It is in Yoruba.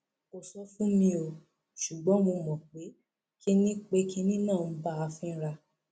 kò sọ fún mi o ṣùgbọn mo mọ pé kinní pé kinní náà ń bá a fínra